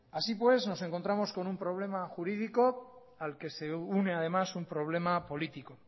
así pues nos encontramos con un problema jurídico al que se une además un problema político